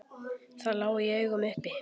Það lá í augum uppi.